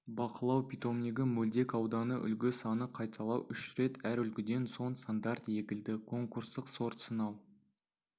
бақылау питомнигі мөлдек ауданы үлгі саны қайталау үш рет әр үлгіден соң стандарт егілді конкурстық сорт сынау